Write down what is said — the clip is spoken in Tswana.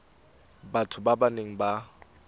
batho ba ba neng ba